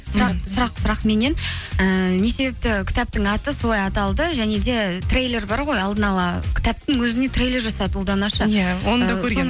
сұрақ меннен ііі не себепті кітаптың аты солай аталды және де трейлер бар ғой алдын ала кітаптың өзіне трейлер жасады ұлдана ше